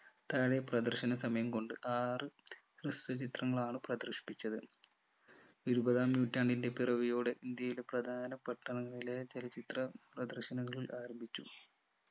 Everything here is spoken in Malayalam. താഴെ പ്രദർശന സമയം കൊണ്ട് ആറു ഹ്രസ്വ ചിത്രങ്ങളാണ് പ്രദർശിപ്പിച്ചത് ഇരുപതാം നൂറ്റാണ്ടിൻ്റെ പിറവിയോടെ ഇന്ത്യയിലെ പ്രധാന പട്ടണങ്ങളിലെ ചലച്ചിത്ര പ്രദർശനങ്ങൾ ആരംഭിച്ചു